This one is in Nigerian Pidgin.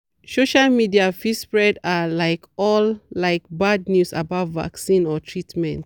social media fit spread ah like all like bad news about vaccines or treatment.